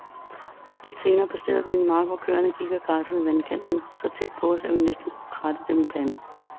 Lidt senere passerede vi en mark, hvor køerne gik og græssede i vandkanten så tæt på os, at vi næsten kunne kratte dem i panden.